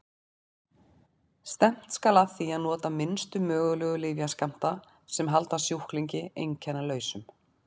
Stefnt skal að því að nota minnstu mögulegu lyfjaskammta sem halda sjúklingi einkennalausum.